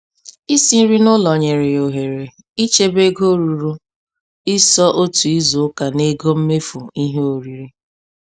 Isi nri n'ụlọ nyere ya ohere ichebe ego ruru & iso otu izu ụka n'ego mmefu ihe oriri.